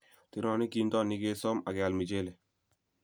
Terenik kintonik kesoom ak keal michelee.